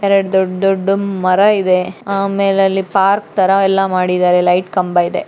ಎರಡ್ ದೊಡ್ಡ ದೊಡ್ಡ ಮರ ಇದೆ ಆಮೇಲೆ ಅಲ್ಲಿ ಪಾರ್ಕ್ ತರ ಎಲ್ಲ ಮಾಡಿದ್ದಾರೆ ಲೈಟ್ ಕಂಬ ಇದೆ.